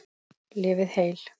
Lifið heil.